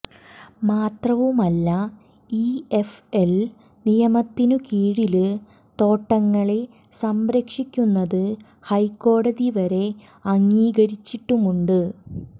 മാത്രവുമല്ല ഇഎഫ്എല് നിയമത്തിനു കീഴില് തോട്ടങ്ങളെ സംരക്ഷിക്കുന്നത് ഹൈക്കോടതി വരെ അംഗീകരിച്ചിട്ടുമുണ്ട്